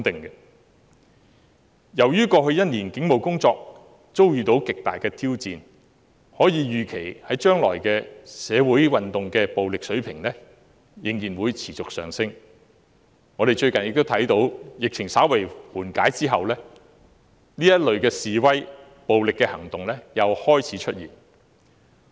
由於過去1年警務工作遭到極大挑戰，可以預期未來社會運動的暴力程度仍然會持續上升，我們亦看到最近疫情稍為緩解，這類示威和暴力行動又開始出現。